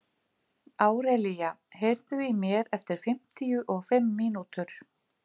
Árelía, heyrðu í mér eftir fimmtíu og fimm mínútur.